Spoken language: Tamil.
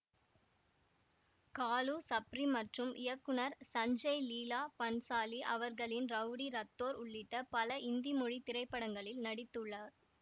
காலு சப்ரி மற்றும் இயக்குநர் சஞ்சய் லீலா பன்சாலி அவர்களின் ரவுடி ரத்தோர் உள்ளிட்ட பல இந்தி மொழி திரைப்படங்களில் நடித்து உள்ளார்